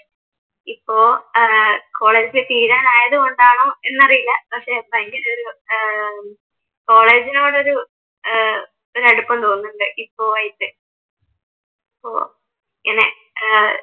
ഇപ്പൊ ഏർ കോളേജ് തീരാനായത് കൊണ്ടാണോ എന്നറിയില്ല പക്ഷെ ഭയങ്കരം ഒരു ഏർ കോളേജിനോടൊരു ഏർ ഒരടുപ്പം തോന്നുന്നുണ്ട് ഇപ്പോഴായിട്ട് പിന്നെ ഏർ